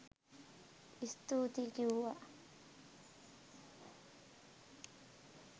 ස්තුතියි කිව්වා.